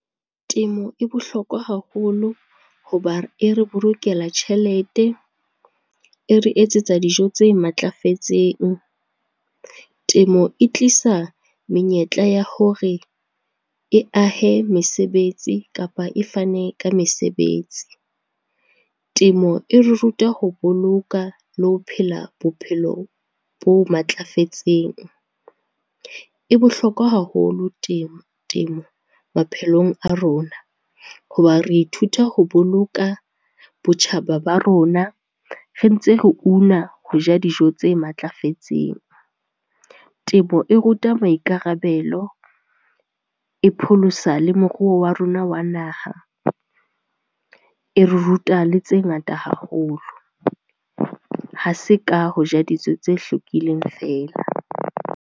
Temo e bohlokwa haholo, hoba e re bolokela tjhelete, e re etsetsa dijo tse matlafetseng. Temo e tlisa menyetla ya hore e ahe mesebetsi kapa e fane ka mesebetsi. Temo e re ruta ho boloka le ho phela bophelo bo matlafetseng. E bohlokwa haholo temo maphelong a rona, ho ba re ithuta ho boloka botjhaba ba rona re ntse re una ho ja dijo tse matlafetseng. Temo e ruta maikarabelo, e pholosa le moruo wa rona wa naha, e re ruta le tse ngata haholo. Ha se ka ho ja dijo tse hlwekileng fela.